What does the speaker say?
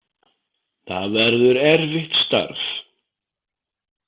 Það verður erfitt starf.